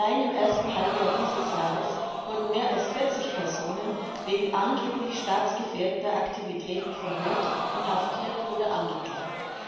Allein im ersten Halbjahr dieses Jahres wurden mehr als 40 Personen wegen angeblich staatsgefährdender Aktivitäten verhört, inhaftiert oder angeklagt.